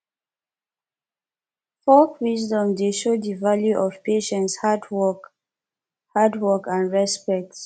folk wisdom dey show de value of patience hard hard work and respect